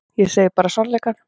Ég segi bara sannleikann.